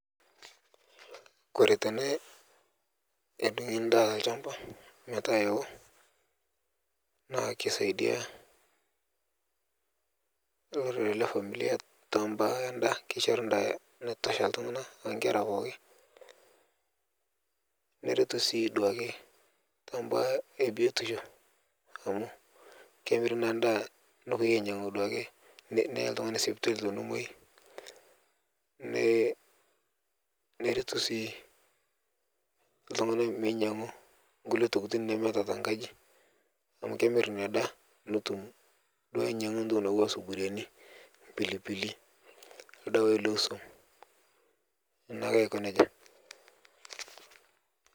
Kore tene edung'i ndaa te lchamba metaa ewo naa keisaidia lorere lefamilia tebaa enda keishori ndaa naitosha ltung'ana eonkera pooki, neretu sii duake tebaa ebiotisho amu kemiri naa ndaa nepoi ainyang'u duake neyae ltung'ani sipitali tenemwai, ne neretu sii ltung'ana ltung'ana meinyang'u nkule tokitin nemeeta tenkaji, amu kemir inia daa netum duo anyang'u toki nauwa suburiani, mpilipili, ldawai leswom naake ako neja.